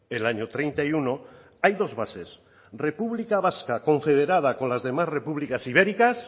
el año treinta y uno hay dos bases república vasca confederada con las demás repúblicas ibéricas